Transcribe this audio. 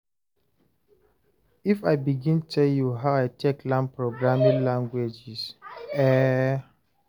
if I begin tell you how I take learn programming languages eh